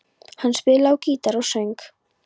Hann spilaði á gítar og söng.